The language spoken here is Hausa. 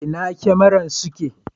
Inna su kyamaran suke?